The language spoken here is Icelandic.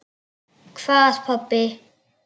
Hvað pabbi?